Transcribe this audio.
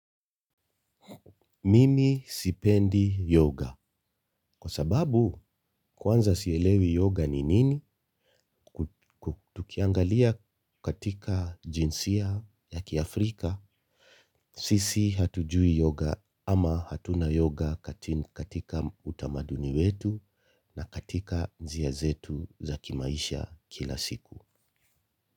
Mimi sipendi yoga. Kwa sababu kwanza sielewi yoga ni nini? Tukiangalia katika jinsia ya kiafrika. Sisi hatujui yoga ama hatuna yoga katika utamaduni wetu na katika njia zetu za kimaisha kila siku.